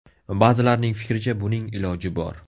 Ba’zilarning fikricha, buning iloji bor.